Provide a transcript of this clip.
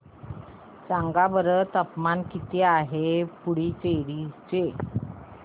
सांगा बरं तापमान किती आहे पुडुचेरी चे